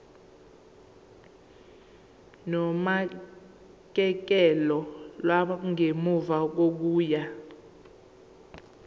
nonakekelo lwangemuva kokuya